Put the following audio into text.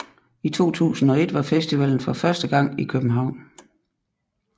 I 2001 var festivalen for første gang i København